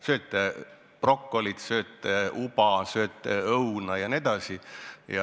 Sööte brokolit, sööte uba, sööte õuna jne.